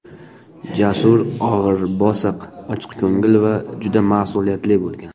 Jasur og‘ir-bosiq, ochiqko‘ngil va juda mas’uliyatli bo‘lgan.